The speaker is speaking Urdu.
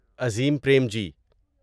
عظیم پریمجی